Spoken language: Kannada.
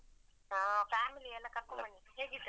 ಹಾ family ಎಲ್ಲಾ ಕರ್ಕೊಂಡ್ ಬನ್ನಿ, ಹೇಗಿದ್ದಾರೆ?